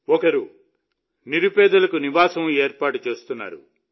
ఒకరు నిరుపేదలకు పైకప్పును ఏర్పాటు చేస్తున్నారు